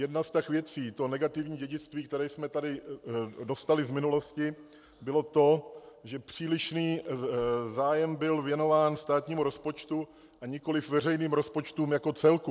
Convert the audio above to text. Jedna z těch věcí, to negativní dědictví, které jsme tady dostali z minulosti, bylo to, že přílišný zájem byl věnován státnímu rozpočtu, a nikoliv veřejným rozpočtům jako celku.